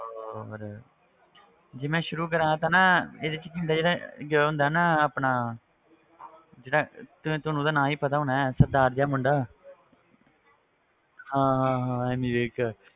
ਉਹ ਫਿਰ ਜੇ ਮੈਂ ਸ਼ੁਰੂ ਕਰਾਂ ਤਾਂ ਨਾ ਇਹਦੇ ਵਿੱਚ ਕੀ ਹੁੰਦਾ ਜਿਹੜਾ ਉਹ ਹੁੰਦਾ ਨਾ ਆਪਣਾ ਜਿਹੜਾ ਤੇ ਤੁਹਾਨੂੰ ਉਹਦਾ ਨਾਂ ਵੀ ਪਤਾ ਹੋਣਾ ਹੈ ਸਰਦਾਰ ਜਿਹਾ ਮੁੰਡਾ ਹਾਂ ਹਾਂ ਹਾਂ ਐਮੀ ਵਿਰਕ,